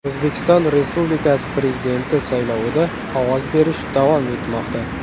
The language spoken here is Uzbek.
O‘zbekiston Respublikasi Prezidenti saylovida ovoz berish davom etmoqda.